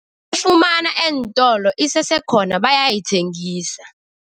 Ufumana eentolo, isesekhona, bayayithengisa.